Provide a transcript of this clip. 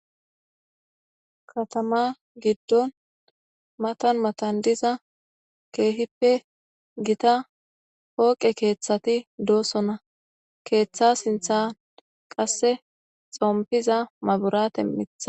Katama giddon matan matan diza keehippe gita pooqe keeththati doosona keeththa sintha qasse xompiza maburate mitha.